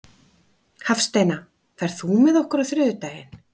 Hafsteina, ferð þú með okkur á þriðjudaginn?